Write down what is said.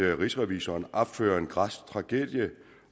at rigsrevisor opfører en græsk tragedie